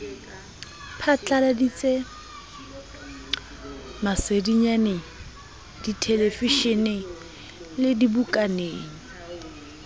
phatladitse masedinyaneng dithelevishineng le dibukaneng